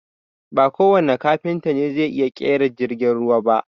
Ba kowanne Kafinta ne zai iya ƙera jirgin ruwa ba